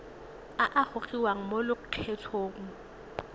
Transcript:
a a gogiwang mo lokgethong